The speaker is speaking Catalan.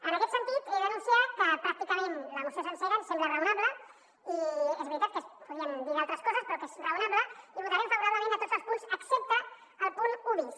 en aquest sentit he d’anunciar que pràcticament la moció sencera ens sembla raonable i és veritat que es podrien dir d’altres coses però que és raonable i vo·tarem favorablement a tots els punts excepte el punt un bis